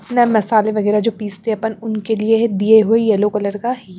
ना मसाले वगैरह जो पीसते हैं अपन उनके लिए दिए हुए येलो कलर का ये।